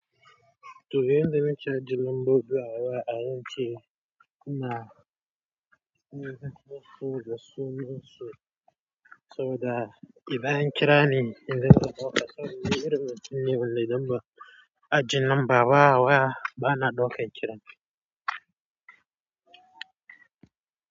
Toh yanzu naci ajin lambobi, wa'alan ce kuna kiran su da sunansu, saboda idan an kira ni in zo na ɗauka saboda irin matukin ne wanda idan ba aje nanba ba, a waya ba na ɗaukan kiran.